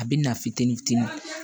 A bɛ na fitini fitini